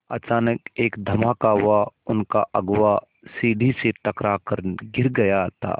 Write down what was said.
अचानक एक धमाका हुआ उनका अगुआ सीढ़ी से टकरा कर गिर गया था